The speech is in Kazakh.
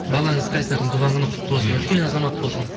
балаңыз қайсардың туған күні құтты болсын үлкен азамат болсын